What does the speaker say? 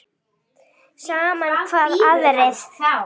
Sama hvað aðrir segja.